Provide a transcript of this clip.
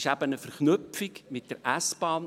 Es ist eine Verknüpfung mit der S-Bahn.